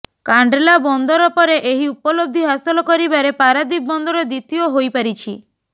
କାଣ୍ଡଲା ବନ୍ଦର ପରେ ଏହି ଉପଲବ୍ଧି ହାସଲ କରିବାରେ ପାରାଦୀପ ବନ୍ଦର ଦ୍ୱିତୀୟ ହୋଇ ପାରିଛି